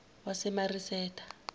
wasemasireta